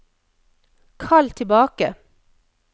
kall tilbake